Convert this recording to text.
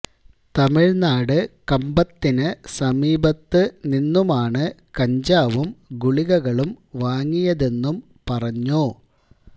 തമിഴ്നാട് കമ്പത്തിന് സമീപത്ത് നിന്നുമാണ് കഞ്ചാവും ഗുളികളും വാങ്ങിയതെന്നും പറഞ്ഞു